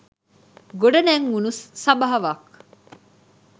ගොඩ නැංවුණු සභාවක්